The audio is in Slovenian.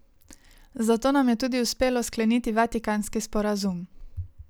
Zato nam je tudi uspelo skleniti vatikanski sporazum.